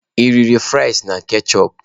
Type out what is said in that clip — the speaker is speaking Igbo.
Ị riri frịsị na ketchịupụ?